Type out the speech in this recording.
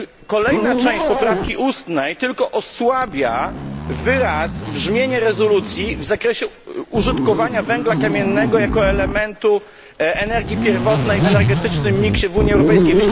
Kolejna część poprawki ustnej tylko osłabia wyraz i brzmienie rezolucji w zakresie użytkowania węgla kamiennego jako elementu energii pierwotnej w energetycznym miksie w Unii Europejskiej.